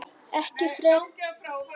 Ekki frekar en ég þau.